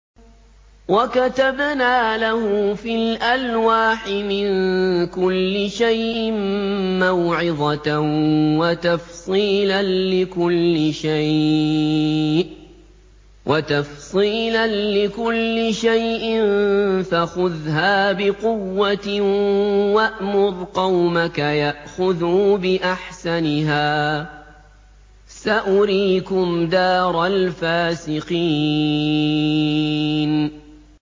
وَكَتَبْنَا لَهُ فِي الْأَلْوَاحِ مِن كُلِّ شَيْءٍ مَّوْعِظَةً وَتَفْصِيلًا لِّكُلِّ شَيْءٍ فَخُذْهَا بِقُوَّةٍ وَأْمُرْ قَوْمَكَ يَأْخُذُوا بِأَحْسَنِهَا ۚ سَأُرِيكُمْ دَارَ الْفَاسِقِينَ